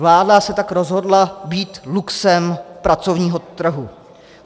Vláda se tak rozhodla být luxem pracovního trhu.